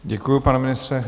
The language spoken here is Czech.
Děkuji, pane ministře.